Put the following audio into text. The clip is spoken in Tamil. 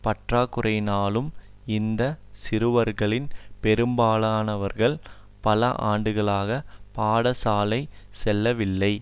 பற்றாக்குறையாலும் இந்த சிறுவர்களில் பெரும்பாலானவர்கள் பல ஆண்டுகளாக பாடசாலை செல்லவில்லை